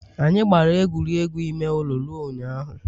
Anyị gbara egwuregwu ime ụlọ ruo ụnyaahụ